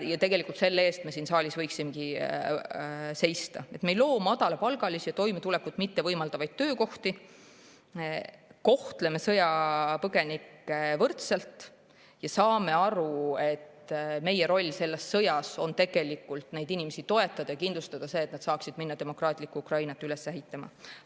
Tegelikult selle eest me siin saalis võiksimegi seista, et me ei loo madalapalgalisi, toimetulekut mittevõimaldavaid töökohti, kohtleme sõjapõgenikke võrdselt, saame aru, et meie roll selles sõjas on tegelikult neid inimesi toetada ja kindlustada see, et nad saaksid minna demokraatlikku Ukrainat üles ehitama.